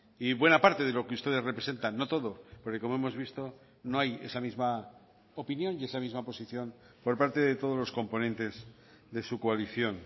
y buena parte de lo que ustedes representan no todo porque como hemos visto no hay esa misma opinión y esa misma posición por parte de todos los componentes de su coalición